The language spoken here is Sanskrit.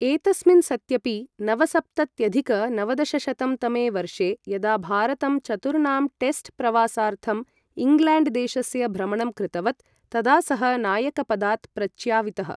एतस्मिन् सत्यपि, नवसप्तत्यधिक नवदशशतं तमे वर्षे यदा भारतं चतुर्णां टेस्ट् प्रवासार्थम् इङ्ग्लेण्ड् देशस्य भ्रमणं कृतवत्, तदा सः नायकपदात् प्रच्यावितः।